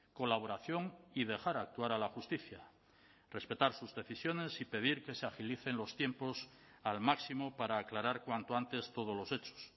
colaboración y dejar actuar a la justicia respetar sus decisiones y pedir que se agilicen los tiempos al máximo para aclarar cuanto antes todos los hechos